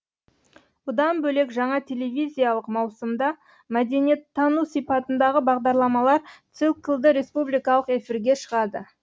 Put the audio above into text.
бұдан бөлек жаңа телевизиялық маусымда мәдениеттану сипатындағы бағдарламалар циклі республикалық эфирлерге шығады